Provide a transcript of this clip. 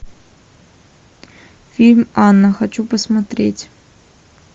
фильм анна хочу посмотреть